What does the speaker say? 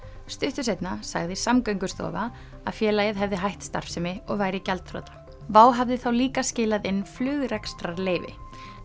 stuttu seinna sagði Samgöngustofa að félagið hefði hætt starfsemi og væri gjaldþrota WOW hafði þá líka skilað inn flugrekstrarleyfi